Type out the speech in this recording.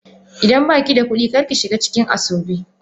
Idan ba ki da kuɗi, kar ki shiga cikin asoebi.